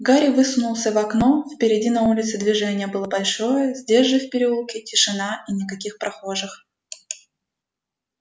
гарри высунулся в окно впереди на улице движение было большое здесь же в переулке тишина и никаких прохожих